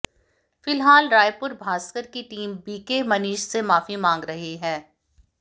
फिलहाल रायपुर भास्कर की टीम बीके मनीष से माफी मांग रही है